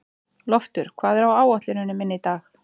Loftur, hvað er á áætluninni minni í dag?